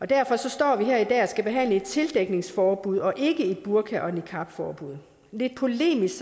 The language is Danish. derfor står vi her i dag og skal behandle et tildækningsforbud og ikke et burka og niqabforbud lidt polemisk